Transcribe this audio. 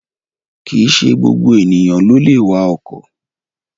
Kìíse gbogbo èèyàn ló lè wa ọkọ̀